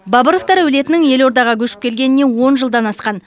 бабыровтар әулетінің елордаға көшіп келгеніне он жылдан асқан